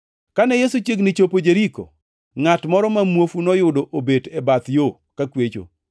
Kane Yesu chiegni chopo Jeriko, ngʼat moro ma muofu noyudo obet e bath yo kakwecho.